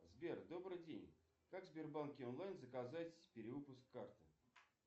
сбер добрый день как в сбербанке онлайн заказать перевыпуск карты